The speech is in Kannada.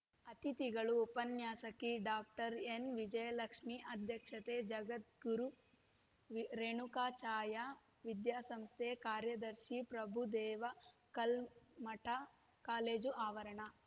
ಅತಿಥಿಗಳು ಉಪನ್ಯಾಸಕಿ ಡಾಕ್ಟರ್ ಎನ್‌ವಿಜಯಲಕ್ಷ್ಮಿ ಅಧ್ಯಕ್ಷತೆ ಜಗದ್ಗುರು ವಿ ರೇಣುಕಾಚಾಯ ವಿದ್ಯಾಸಂಸ್ಥೆ ಕಾರ್ಯದರ್ಶಿ ಪ್ರಭುದೇವ ಕಲ್ಮಠ ಕಾಲೇಜು ಆವರಣ